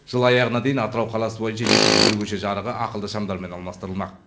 жыл аяғына дейін атырау қаласы бойынша екі жүз бір көше жарығы ақылды шамдармен алмастырылмақ